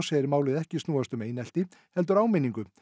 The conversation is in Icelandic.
segir málið ekki snúast um einelti heldur áminningu